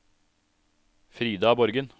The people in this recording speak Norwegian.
Frida Borgen